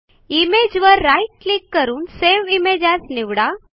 इमेजवर right click करून save image as निवडा